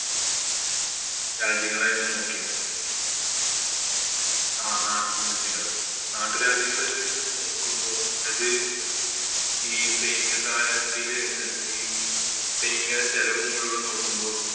രാജ്യങ്ങളായിരുന്നു നോക്കിയിരുന്നെ. ആ നാട്ടില് നാട്ടുരാജ്യങ്ങള് ഇത് നോക്കുമ്പോ അത് ഈ സൈനിക സഹായ വ്യവസ്ഥയില് സൈനിക ചെലവ് മുഴുവന്‍ നോക്കുമ്പോ